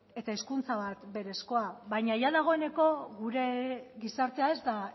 eta hezkuntza bat berezkoa baina jada dagoeneko gure gizartea ez da